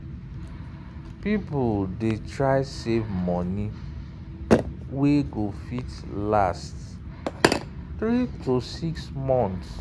people dey try try save money wey go fit last 3–6 months.